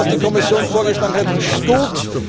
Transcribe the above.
sein! Das, was die Kommission vorgeschlagen hat, ist